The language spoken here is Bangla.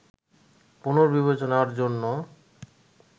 পুনর্বিবেচনার জন্য